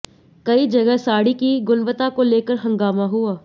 कई जगह साड़ी की गुणवत्ता को लेकर हंगामा हुआ